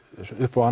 upp á